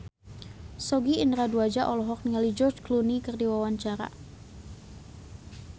Sogi Indra Duaja olohok ningali George Clooney keur diwawancara